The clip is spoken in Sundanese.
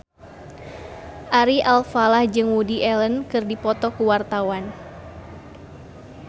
Ari Alfalah jeung Woody Allen keur dipoto ku wartawan